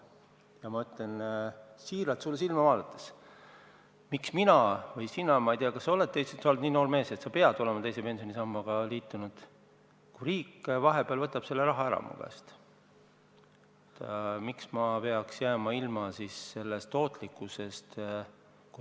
Ja ma küsin sulle silma vaadates siiralt: miks peaksin mina või sina – sa oled nii noor mees, et ma ei tea, kas sa oled teise pensionisambaga liitunud –, kui riik vahepeal võtab selle raha mu käest ära, jääma ilma sellest tootlusest?